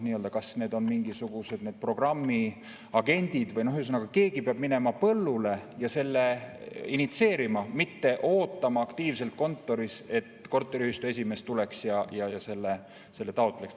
Kas need on mingisugused programmiagendid või – ühesõnaga, keegi peab minema põllule ja selle initsieerima, mitte ootama aktiivselt kontoris, et korteriühistu esimees tuleks ja selle taotleks.